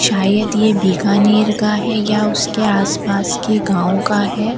शायद ये बिकानेर का है या उसके आसपास के किसी गांव का है।